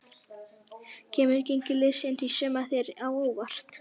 Kemur gengi liðsins í sumar þér á óvart?